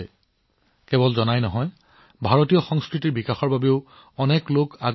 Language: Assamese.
বিভিন্ন দেশৰ মানুহে কেৱল আমাৰ সংস্কৃতিৰ বিষয়ে জানিবলৈ আগ্ৰহী নহয় বৰঞ্চ ইয়াক উন্নত কৰাত সহায়ো কৰি আছে